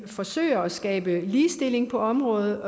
forsøger at skabe ligestilling på området